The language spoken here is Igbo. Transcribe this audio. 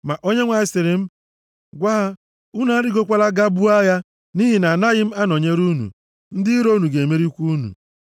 Ma Onyenwe anyị sịrị m, “Gwa ha, ‘Unu arịgokwala, gaa buo agha, nʼihi na agaghị m anọnyere unu. Ndị iro unu ga-emerikwa unu.’ ”